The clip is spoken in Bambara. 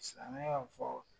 Silamɛ ya y' fɔ.